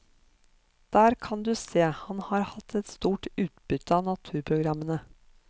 Der kan du se, han har hatt et stort utbytte av naturprogrammene.